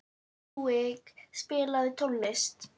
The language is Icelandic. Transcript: Rúrik, spilaðu tónlist.